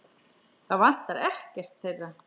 Það vantar ekkert þeirra.